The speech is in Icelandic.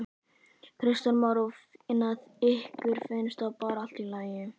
Kristján Már: Og ykkur finnst það bara allt í lagi?